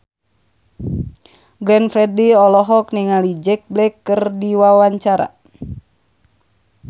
Glenn Fredly olohok ningali Jack Black keur diwawancara